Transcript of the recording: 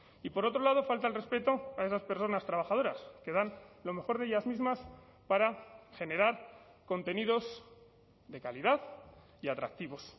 y por otro lado falta al respeto a esas personas trabajadoras que dan lo mejor de ellas mismas para generar contenidos de calidad y atractivos